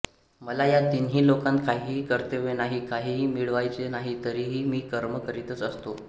मला या तीनही लोकांत काहीही कर्तव्य नाही काहीही मिळवायचं नाही तरीही मी कर्म करीतच असतो